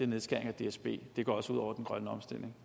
nedskæring af dsb det går også ud over den grønne omstilling